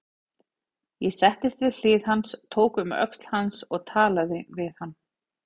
Ég settist við hlið hans, tók um öxl hans og talaði við hann.